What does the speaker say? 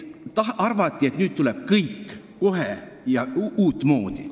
Arvati, et nüüd hakkab kõik kohe minema uutmoodi.